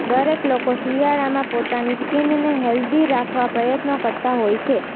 દરેક લોકો શિયાળામાં પોતાની સ્કિનને હેલ્ધી રાખવા પ્રયત્નો કરતા હોય છે